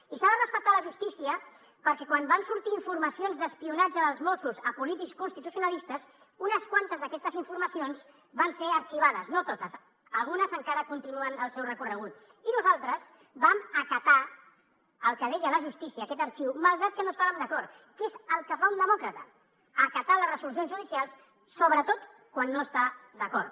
i s’ha de respectar la justícia perquè quan van sortir informacions d’espionatge dels mossos a polítics constitucionalistes unes quantes d’aquestes informacions van ser arxivades no totes algunes encara continuen el seu recorregut i nosaltres vam acatar el que deia la justícia aquest arxivament malgrat que no hi estàvem d’acord que és el que fa un demòcrata acatar les resolucions judicials sobretot quan no hi està d’acord